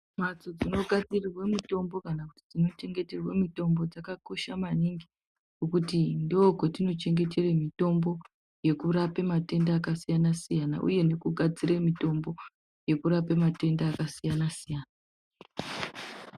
Mbatso dzinogadzira mutombo nedzinochengeterwa mitombo dzakakosha maningi ngekuti ndokwatinochengetere mutombo yekurape matenda akasiyana siyana uye ndokwati gadzire mitombo yekurape matenda akasiyana siyana.